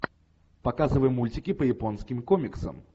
показывай мультики по японским комиксам